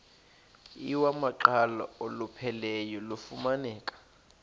iwamaqhalo olupheleleyo lufumaneka